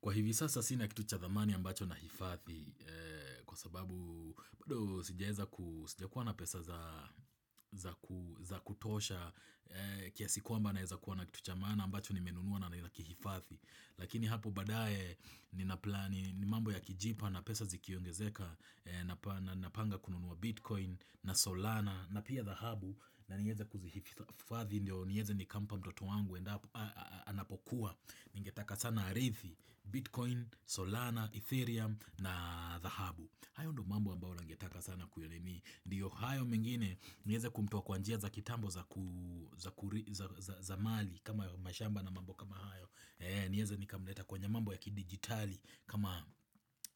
Kwa hivi sasa sina kitu cha dhamani ambacho na hifadhi kwa sababu bado sijeza kuwa na pesa za kutosha kiasi kwamba naeza kuwa na kitucha zamani ambacho ni nimenunua na naki hifathi Lakini hapu badaye ni naplani ni mambo ya kijipa na pesa zikiongezeka na panga kununua bitcoin na solana na pia dhahabu na nieza kuzi hidhathi niyeze ni kampa mtoto wangu anapokuwa ingetaka sana arithi bitcoin, solana, ethereum na dhahabu. Hayo ndo mambo ambao langetaka sana kurithi ndiyo hayo mingine niweze kumtoa kwa njia za kitambo za mali kama mashamba na mambo kama hayo nieze nikamleta kwenye mambo ya ki digitali kama